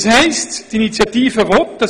Das heisst, die Initiative will Folgendes